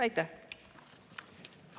Aitäh!